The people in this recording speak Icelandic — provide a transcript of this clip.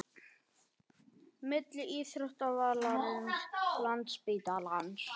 Milli íþróttavallarins, landsspítalans